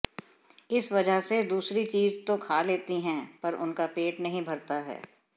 इस वजह से दूसरी चीज तो खा लेती हैं पर उनका पेट नहीं भरता है